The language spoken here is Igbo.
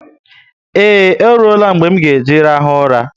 Eee, oruela mgbe m nga eji rahu ụla